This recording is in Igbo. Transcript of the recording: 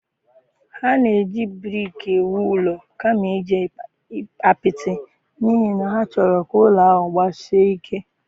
Ha na-eji brik ewu ụlọ kama iji apịtị n'ihi na ha chọrọ ka ụlọ ahụ gbasie ike